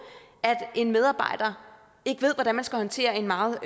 at en medarbejder ikke ved hvordan man skal håndtere en meget